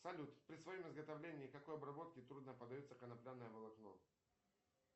салют при своем изготовлении какой обработке трудно поддается конопляное волокно